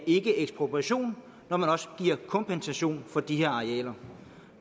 ikke er ekspropriation når man også giver kompensation for de her arealer